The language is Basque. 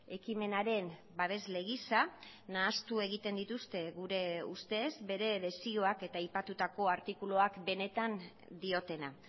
ekimenaren babesle gisa nahastu egiten dituzte gure ustez bere desioak eta aipatutako artikuluak benetan diotena